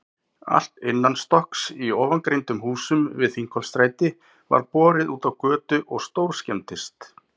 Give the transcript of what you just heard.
Allt innanstokks í ofangreindum húsum við Þingholtsstræti var borið útá götu og stórskemmdist.